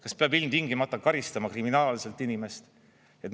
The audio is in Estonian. Kas peab ilmtingimata karistama kriminaalselt inimest?